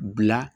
Bila